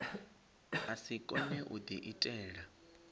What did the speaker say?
a si kone u diitela